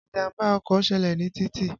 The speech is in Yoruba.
Ìjàmbá ọkọ̀ ṣẹlẹ̀ ní títì.